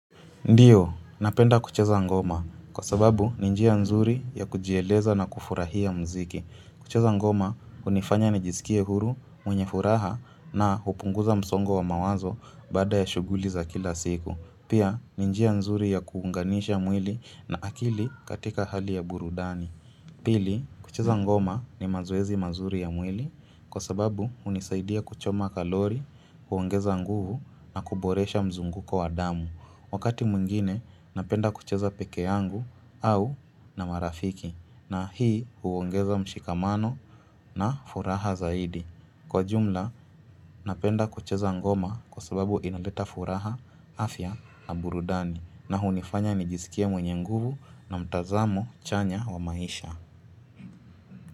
Ndio, napenda kucheza ngoma. Kwa sababu, ni njia nzuri ya kujieleza na kufurahia mziki. Kucheza ngoma, hunifanya nijisikie huru, mwenye furaha na upunguza msongo wa mawazo baada ya shuguli za kila siku. Pia, ni njia nzuri ya kuunganisha mwili na akili katika hali ya burudani. Pili, kucheza ngoma ni mazoezi mazuri ya mwili. Kwa sababu, hunisaidia kuchoma kalori, kuongeza nguvu na kuboresha mzunguko wa damu. Wakati mwingine napenda kucheza pekee yangu au na marafiki, na hii huongeza mshikamano na furaha zaidi. Kwa jumla, napenda kucheza ngoma kwa sababu inaleta furaha, afya na burudani na hunifanya nijisikie mwenye nguvu na mtazamo chanya wa maisha.